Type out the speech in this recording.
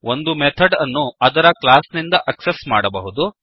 ಒಂದು ಮೆಥಡ್ ಅನ್ನುಅದರ ಕ್ಲಾಸ್ ನಿಂದ ಆಕ್ಸೆಸ್ ಮಾಡಬಹುದು